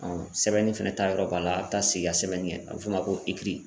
Ɔn sɛbɛnni fɛnɛ ta yɔrɔ b'a la a be taa seigi ka sɛbɛnni kɛ a be f'o ma ko ekiri